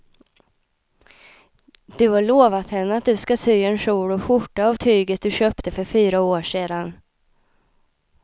Du har lovat henne att du ska sy en kjol och skjorta av tyget du köpte för fyra år sedan.